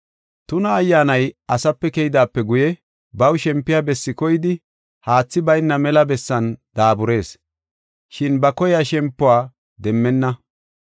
“Tuna ayyaanay asape keydaape guye baw shempiya bessi koyidi haathi bayna mela bessan daaburees, shin ba koyiya shempuwa demmenna.